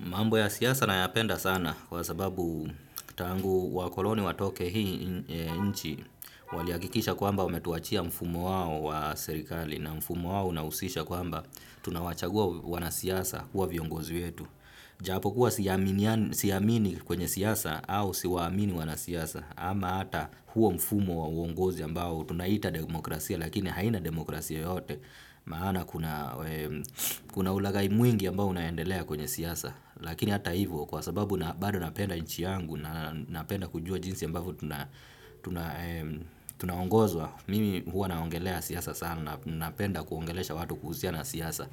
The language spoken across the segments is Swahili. Mambo ya siasa na yapenda sana kwa sababu tangu wa koloni wa toke hii nchi walihakikisha kwa mba wame tuachia mfumo wao wa serikali na mfumo wao na usisha kwa mba tunawachagua wanasiasa kuwa viongozi wetu. Japo kuwa siamini kwenye siasa au siwaamini wanasiasa ama hata huo mfumo wa uongozi ambao tunaita demokrasia lakini haina demokrasia yote maana kuna ulaghai mwingi ambao unaendelea kwenye siasa. Lakini hata hivyo kwa sababu bado napenda nchi yangu na napenda kujua jinsi ambavyo tunaongozwa mimi huwa naongelea sana napenda kuongelesha watu kuhusiana na siasa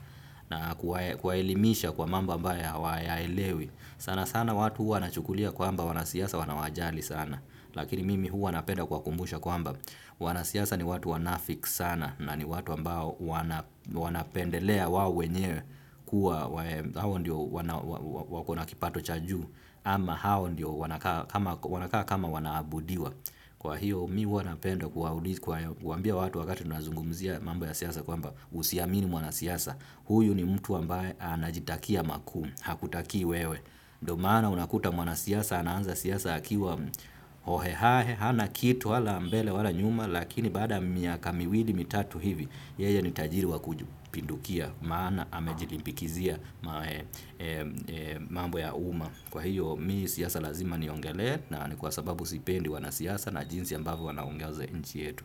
nakuwaelimisha kwa mambo ambayo hawayaelewi sana sana watu wanachukulia kwamba wanasiasa wanawajali sana lakini mimi huwa nawakumbusha kwamba wanasiasa ni watu wanafiki sana na ni watu ambao wanapendelea wao wenyewe kuwa wanakipato cha juu ama wao wenyewe wanakaa wanakaa kama wanaabudiwa kwa hiyo mimi huwanapenda kuwambia watu wakati unazungumzia mambo ya siasa kwa mba usiamini mwana siasa huyu ni mtu ambaye anajitakia makuu, hakutakii wewe ndiomana unakuta mwana siasa ananza siasa akiwa hohehae. Hana kitu wala ambele wala nyuma lakini baada miaka miwili mitatu hivi yeye ni tajiri wa kujupindukia maana hamejilimpikizia mambo ya uma. Kwa hiyo mimi siasa lazima ni ongele na ni kwa sababu sipendi wana siasa na jinsi ambavyo wanaongoza nchi yetu.